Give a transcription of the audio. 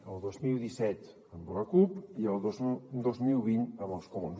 el dos mil disset amb la cup i el dos mil vint amb els comuns